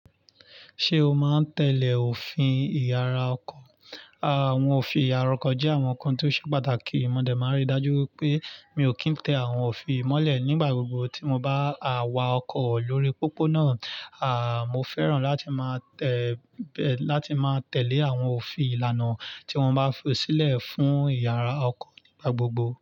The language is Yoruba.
Ṣé o máa ń tẹ̀lé òfin ìyára ọkọ̀? Àwọn òfin ìyára ọkọ̀ jẹ́ àwọn nǹkan tó ṣe pàtàkì. Mọ̀dẹ̀ máa ń rí i dájú wipé mi ò kí ń tẹ àwọn òfin yii mọ́lẹ̀ nígbà gbogbo tí mo bá à wà ọkọ̀ lórí pópónà. À, mo fẹ́ràn láti máa tẹ̀, láti máa tẹ̀lé àwọn òfin ìlànà tí wọ́n bá fi sílẹ̀ fún ìyára ọkọ̀ nígbà gbogbo.